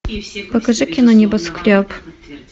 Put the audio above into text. покажи кино небоскреб